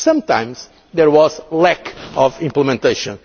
of decision. Sometimes there was lack of implementation.